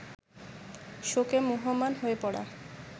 শোকে মুহ্যমান হয়ে পড়া